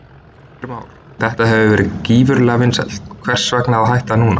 Heimir Már: Þetta hefur verið gífurlega vinsælt, hvers vegna að hætta núna?